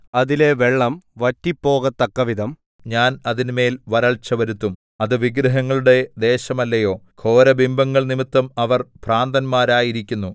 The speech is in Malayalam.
അതിലെ വെള്ളം വറ്റിപ്പോകത്തക്കവിധം ഞാൻ അതിന്മേൽ വരൾച്ച വരുത്തും അത് വിഗ്രഹങ്ങളുടെ ദേശമല്ലയോ ഘോരബിംബങ്ങൾ നിമിത്തം അവർ ഭ്രാന്തന്മാരായിരിക്കുന്നു